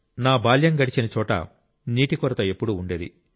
నా బాల్యం గడిచిన చోట నీటి కొరత ఎప్పుడూ ఉండేది